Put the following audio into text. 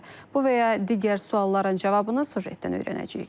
Bu və ya digər sualların cavabını süjetdən öyrənəcəyik.